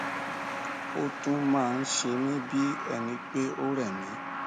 ó tún máa ń se mí bí ẹni pé ó rẹ mí